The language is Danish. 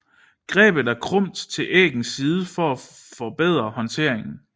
Grebet er krumt til æggens side for at forbedre håndteringen